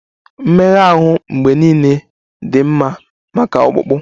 Mmega ahụ mgbe niile dị mma maka ọkpụkpụ